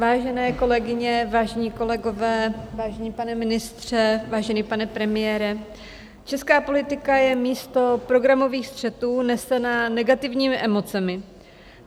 Vážené kolegyně, vážení kolegové, vážený pane ministře, vážený pane premiére, česká politika je místo programových střetů nesená negativními emocemi.